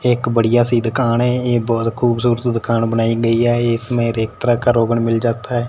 एक बढ़िया सी दुकान है ए बहोत खूबसूरत दुकान बनाई गई है इसमें हर एक तरह का रोगन मिल जाता है।